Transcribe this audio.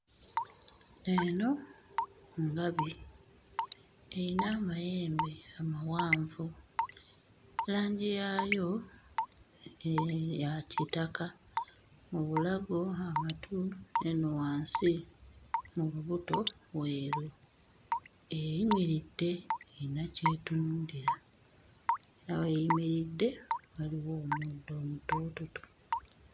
Eno ngabi; eyina amayembe amawanvu, langi yaayo ya kitaka mu bulago, amatu n'eno wansi, mu lubuto weeru. Eyimiridde eyina ky'etunuulira nga weeyimiridde waliwo omuddo omutoototo.